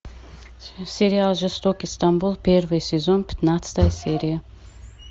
сериал жестокий стамбул первый сезон пятнадцатая серия